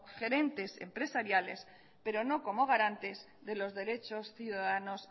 gerentes empresariales pero no como garantes de los derechos ciudadanos